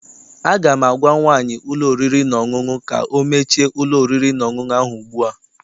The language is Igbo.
Aga m agwa nwaanyị ụlọ oriri na ọṅụṅụ ka ọ mechie ụlọ oriri na ọṅụṅụ ahụ ugbu a!